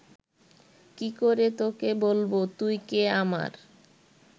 কি করে তোকে বলব তুই কে আমার